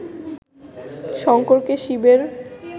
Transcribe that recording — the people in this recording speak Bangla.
শঙ্করকে শিবের